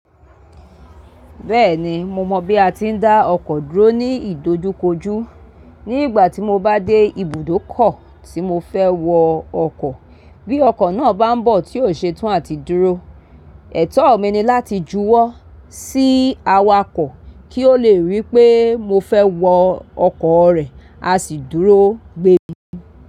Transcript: Bẹ́ẹ̀ni mo mọ̀ bí a ti ń dá ọkọ̀ dúró ní ìdojúkojú. Ní ìgbà tí mo bá dé ibùdókọ̀ tí mo fẹ́ wọ ọkọ̀, bí ọkọ̀ náà bá ń bọ̀ tí ò ṣe tán à ti dúró. Ẹ̀tọ́ mi ni láti júwọ́ sí awakọ̀ kí ó lè rí pé mo fẹ́ wọ ọkọ̀ rẹ̀, a sì dúró gbé mi.